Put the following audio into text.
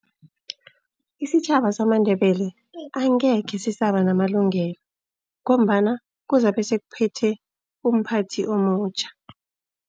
Isitjhaba samaNdebele angekhe sisaba namalungelo, ngombana kuzabe sekuphethe umphathi omutjha.